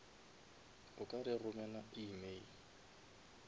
o ka re romela email